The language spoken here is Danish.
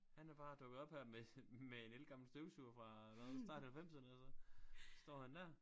Han er bare dukket op her med med en ældgammel støvsuger fra hvad start halvfemserne og så står han der